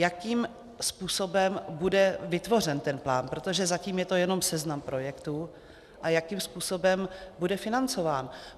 Jakým způsobem bude vytvořen ten plán, protože zatím je to jenom seznam projektů, a jakým způsobem bude financován?